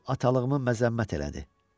O atalığımı məzəmmət elədi.